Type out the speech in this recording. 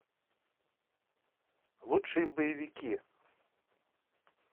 лучшие боевики